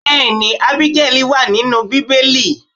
Bẹẹni, Ábígẹ́lì wa nínú Bíbélì.